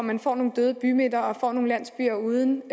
man får nogle døde bymidter og nogle landsbyer uden